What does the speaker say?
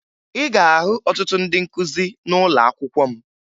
Ị ga-ahụ ọtụtụ ndị nkụzi n'ụlọakwụkwọ m